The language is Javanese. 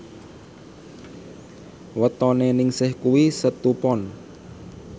wetone Ningsih kuwi Setu Pon